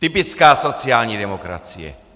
Typická sociální demokracie!